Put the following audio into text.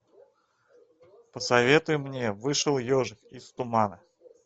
посоветуй мне вышел ежик из тумана